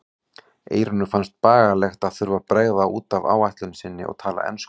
Eyrúnu fannst bagalegt að þurfa að bregða út af áætlun sinni og tala ensku.